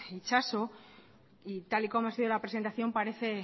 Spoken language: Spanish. itxaso y tal y como ha sido la presentación parece